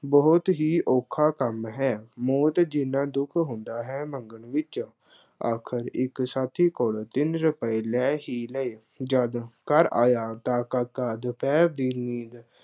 ਬਹੁਤ ਹੀ ਔਖਾ ਕੰੰਮ ਹੈ। ਮੌਤ ਜਿੰਨਾ ਦੁੱਖ ਹੁੰਦਾ ਹੈ, ਮੰਗਣ ਵਿੱਚ। ਆਖਰ ਇੱਕ ਸਾਥੀ ਕੋਲ ਤਿੰਨ ਰੁਪਏ ਲੈ ਕੀ ਲਏ, ਜਦ ਘਰ ਆਇਆ ਤਾਂ ਕਾਕਾ ਦੁਪਹਿਰ ਦੀ ਨੀਂਦ